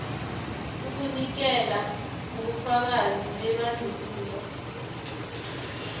ukunikela ngobufakazi bebandulo